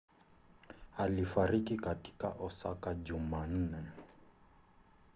alifariki katika osaka jumanne